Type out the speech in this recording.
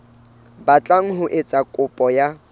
batlang ho etsa kopo ya